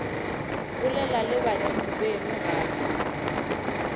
bolela le badimo beno gape